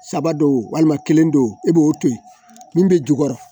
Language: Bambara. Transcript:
Saba don walima kelen don e b'o to yen min bɛ jukɔrɔ